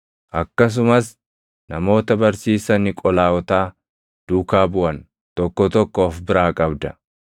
Akkasumas namoota barsiisa Niqolaawotaa duukaa buʼan tokko tokko of biraa qabda.